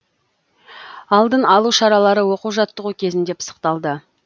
алдын алу шаралары оқу жаттығу кезінде пысықталды